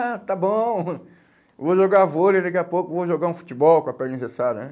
Ah, está bom, vou jogar vôlei daqui a pouco, vou jogar um futebol com a perna engessada, né?